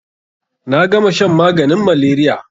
Na gama shan maganin malaria.